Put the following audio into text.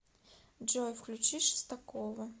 джой включи шестакова